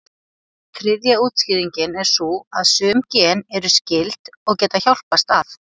Þriðja útskýringin er sú að sum gen eru skyld, og geta hjálpast að.